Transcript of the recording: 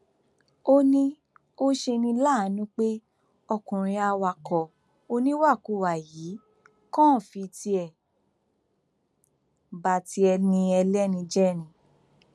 ó ní ó ṣe ní láàánú pé ọkùnrin awakọ oníwàkuwà yìí kàn fi tiẹ ba ti ẹni ẹlẹni jẹ ni